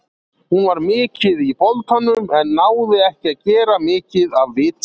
Hún var mikið í boltanum, en náði ekki að gera mikið af viti.